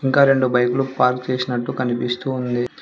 ఇంకా రెండు బైక్లు పార్క్ చేసినట్టు కనిపిస్తూ ఉంది.